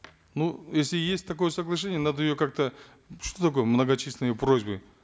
ну если есть такое соглашение надо ее как то что такое многочисленные просьбы